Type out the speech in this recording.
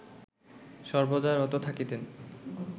সর্বদা রত থাকিতেন